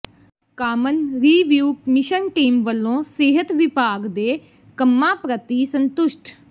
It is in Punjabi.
ਕਾਮਨ ਰੀਵਿਊ ਮਿਸ਼ਨ ਟੀਮ ਵਲੋਂ ਸਿਹਤ ਵਿਭਾਗ ਦੇ ਕੰਮਾਂ ਪ੍ਰਤੀ ਸੰਤੁਸ਼ਟ